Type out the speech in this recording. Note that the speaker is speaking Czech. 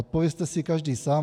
Odpovězte si každý sám.